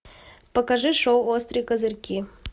покажи шоу острые козырьки